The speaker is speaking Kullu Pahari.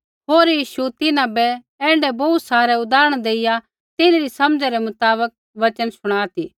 होर यीशु तिन्हां बै ऐण्ढै बोहू सारै उदाहरण देइया तिन्हरी समझ़ै रै मुताबक वचन शुणा ती